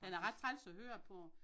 Den er ret træls at høre på